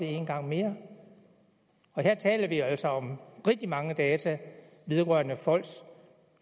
en gang mere her taler vi altså om rigtig mange data vedrørende folks